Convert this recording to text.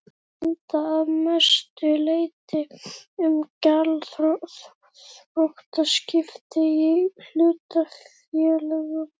gilda að mestu leyti um gjaldþrotaskipti í hlutafélögum.